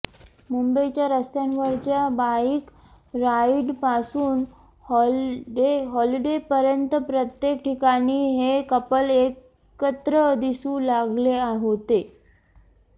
मुंबईच्या रस्त्यांवरच्या बाईक राईडपासून हॉलिडेपर्यंत प्रत्येक ठिकाणी हे कपल एकत्र दिसू लागले होते